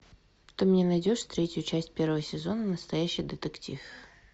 ты мне найдешь третью часть первого сезона настоящий детектив